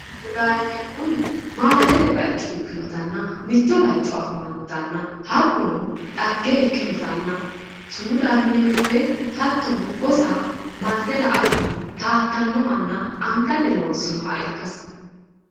Sumudaho yineemmohu maalalete baycho ikkinotanna mitto baycho afamannotanna hakkuno xagge ikkinotanna sumudaho yineemmo woyte hattono gosa marte la"atenni taattannohanna angatee loonnsooonniha ikkasi